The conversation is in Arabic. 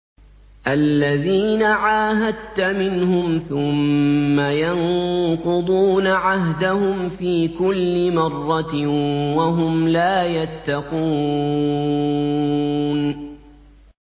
الَّذِينَ عَاهَدتَّ مِنْهُمْ ثُمَّ يَنقُضُونَ عَهْدَهُمْ فِي كُلِّ مَرَّةٍ وَهُمْ لَا يَتَّقُونَ